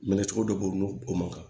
Minɛ cogo dɔ b'o o ma kan